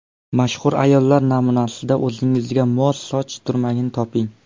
Mashhur ayollar namunasida o‘zingizga mos soch turmagini toping.